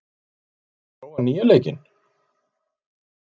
Vörður, hefur þú prófað nýja leikinn?